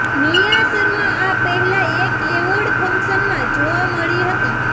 નિયા શર્મા આ પહેલા એક એવોર્ડ ફંક્શનમાં જોવા મળી હતી